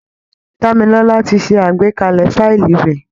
Dámilọ́lá ti ṣe àgbékalẹ̀ fáìlì rẹ̀